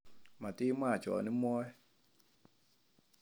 Matimwa chon imwoe